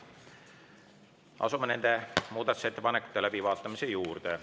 Asume nende muudatusettepanekute läbivaatamise juurde.